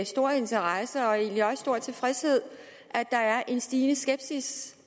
stor interesse og egentlig også stor tilfredshed at der er en stigende skepsis